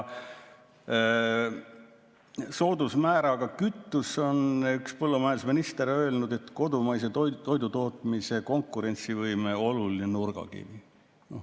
Soodusmääraga kütus on, nagu üks põllumajandusminister on öelnud, kodumaise toidutootmise konkurentsivõime oluline nurgakivi.